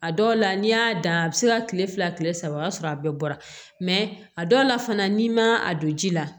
A dɔw la n'i y'a dan a bɛ se ka kile fila kile saba o y'a sɔrɔ a bɛɛ bɔra a dɔw la fana n'i ma a don ji la